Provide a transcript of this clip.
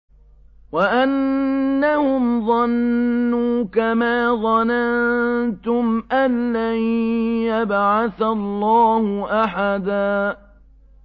وَأَنَّهُمْ ظَنُّوا كَمَا ظَنَنتُمْ أَن لَّن يَبْعَثَ اللَّهُ أَحَدًا